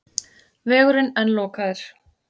Vegurinn enn lokaður